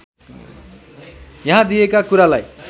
यहाँ दिएका कुरालाई